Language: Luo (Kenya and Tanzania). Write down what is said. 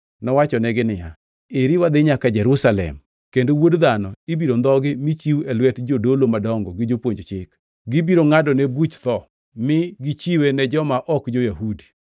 Nowachonegi niya, “Eri wadhi nyaka Jerusalem, kendo Wuod Dhano ibiro ndhogi mi chiw e lwet jodolo madongo gi jopuonj chik. Gibiro ngʼadone buch tho mi gichiwe ne joma ok jo-Yahudi,